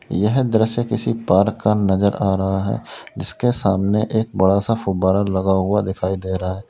यह दृश्य किसी पार्क का नजर आ रहा है जिसके सामने एक बड़ा सा फव्वारा लगा हुआ दिखाई दे रहा है।